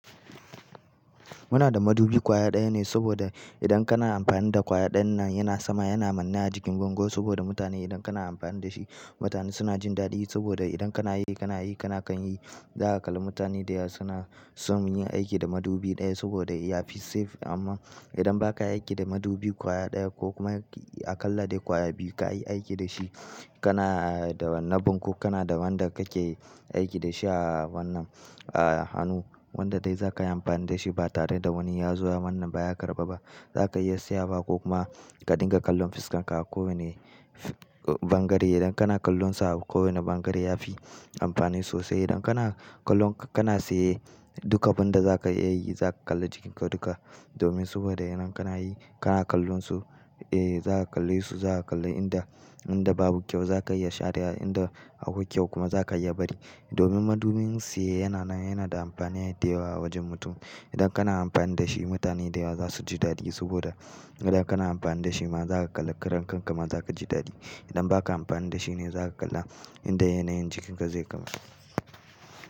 Muna da madubi kwaya ɗaya ne saboda idan kana amfani da kwaya ɗan nan yana sama, yana manne a jikin bango saboda mutane idan kana amfani da shi mutane suna jin daɗi saboda idan kana yi, kana yi, kana kan yi. Za ka kalli mutane da yawa suna son yin aiki da madubi ɗaya saboda ya fi safe amma idan ba ka aiki da madubi kwaya ɗaya ko kuma a kala da kwaya biyu ka yi aiki da shi, kana da na banko, kana da wanda kake aiki da shi a wannan a hannu wanda dai za ka yi amfani da shi ba tare da wani ya zo wannan ba ya karba ba. Za ka iya siya ba ko kuma ka dinga kallon fuskanka a kowane bangare. Idan kana kallon sa a kowane bangare ya fi amfani sosai. Idan kana kallon, kana siye duka abin da za ka iya yi, za ka kalli jikinka duka domin saboda yanan kana yi, kana kallon su, eh za ka kalle su, za ka kalli inda, inda babu kyau za ka iya sharewa, inda akwai kyau kuma za ka iya bari. Domin madubin tsiye yana nan, yana da amfani da yawa wajen mutum. Idan kana amfani da shi mutane da yawa za su ji daɗi saboda idan kana amfani da shi ma za ka kalli karan kanka ma za ka ji daɗi. Idan ba ka amfani da shi ne za ka kalla inda yanayin jikinka zai kam.